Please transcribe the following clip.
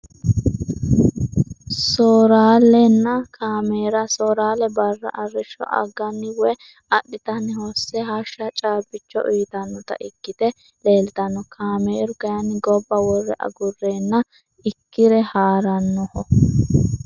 Sooralena caameera soorale barra arisho agani woyi adhitani hose hasjsha caabicho uyitanota ikite leeltano caameru kayini gobba wore agureena ikire haaranoho.